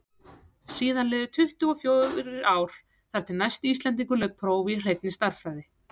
síðan liðu tuttugu og fjórir ár þar til næsti íslendingur lauk prófi í hreinni stærðfræði